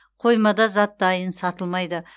қоймада зат дайын сатылмайды